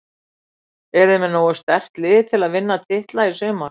Eruð þið með nógu sterkt lið til að vinna titla í sumar?